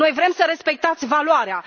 Noi vrem să respectați valoarea